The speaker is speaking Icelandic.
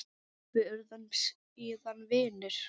Við urðum síðan vinir.